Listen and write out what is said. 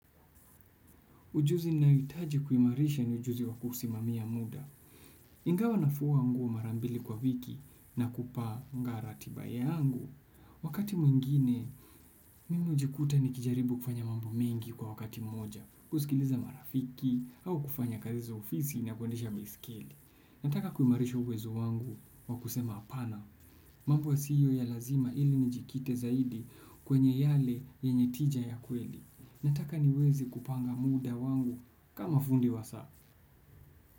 Ujuzi ninaohitaji kuimarisha ni ujuzi wa kusimamia muda. Ingawa nafua nguo mara mbili kwa wiki na kupanga ratiba yangu. Wakati mwingine, mimi hujikuta nikijaribu kufanya mambo mengi kwa wakati moja. Kusikiliza marafiki au kufanya kazi za ofisi na kuendesha baiskeli nataka kuimarisha uwezo wangu wa kusema hapana. Mambo yasiyo ya lazima ili nijikite zaidi kwenye yale yenye tija ya kweli. Nataka niweze kupanga muda wangu kama fundi wa saa.